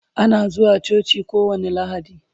Ana zuwa coci kowani lahadi